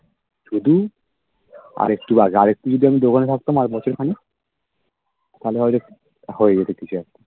শুধু আরেকটু আগে আরেকটু যদি আমি দোকানে থাকতাম আরবছর খানিক তাহলে হয়তো হয়ে যেত কিছু একটা